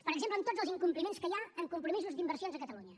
per exemple en tots els incompliments que hi ha en compromisos d’inversions a catalunya